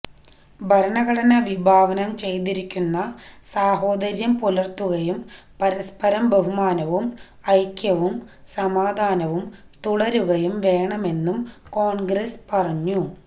ഭരണഘടന വിഭാവനം ചെയ്തിരിക്കുന്ന സഹോദര്യം പുലര്ത്തുകയും പരസ്പര ബഹുമാനവും ഐക്യവും സമാധാനവും തുടരുകയും വേണമെന്നും കോണ്ഗ്രസ പറഞ്ഞു